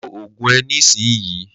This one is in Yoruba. Lo ògùn ẹ ní ìsinyii!